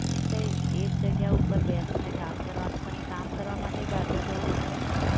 તો એક જગ્યા ઉપર બેસીને કામ કરવાનું પણ એ કામ કરવા માટે બહાર તો જવું જ પડે ને?